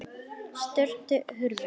Störf hurfu.